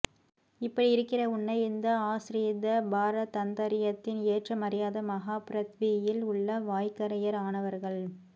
இப்படி இருக்கிற உன்னை இந்த ஆஸ்ரித பாரதந்தர்யத்தின் ஏற்றம் அறியாத மஹா பிரத்வியில் உள்ள வாய்கரையர் ஆனவர்கள்